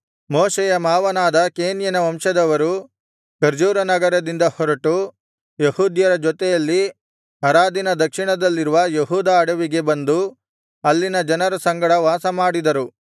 ಮೋಶೆಯ ಮಾವನಾದ ಕೇನ್ಯನ ವಂಶದವರು ಖರ್ಜೂರ ನಗರದಿಂದ ಹೊರಟು ಯೆಹೂದ್ಯರ ಜೊತೆಯಲ್ಲಿ ಅರಾದಿನ ದಕ್ಷಿಣದಲ್ಲಿರುವ ಯೆಹೂದ ಅಡವಿಗೆ ಬಂದು ಅಲ್ಲಿನ ಜನರ ಸಂಗಡ ವಾಸಮಾಡಿದರು